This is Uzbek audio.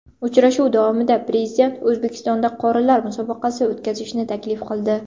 Uchrashuv davomida Prezident O‘zbekistonda qorilar musobaqasi o‘tkazishni taklif qildi.